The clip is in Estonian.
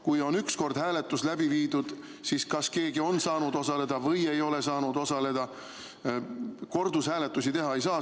Kui on üks kord hääletus läbi viidud, siis kas keegi on saanud osaleda või ei ole saanud osaleda, kordushääletusi teha ei tohi saada.